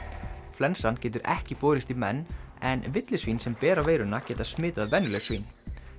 flensan getur ekki borist í menn en villisvín sem bera veiruna geta smitað venjuleg svín